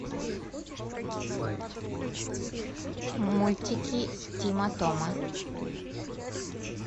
мультики тима тома